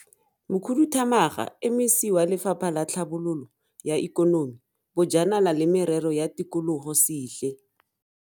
Mokhudu thamaga MEC wa Lefapha la Tlhabololo ya Ikonomi, Bojanala le Merero ya Tikologo Sihle.